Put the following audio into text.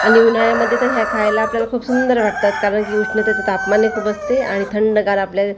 आणि उन्हाळ्यामध्ये तर ह्या खायला आपल्याला खूप सुंदर वाटतात कारण की उष्णतेचं तापमान एक उबसतंय आणि थंडगार आपल्याला--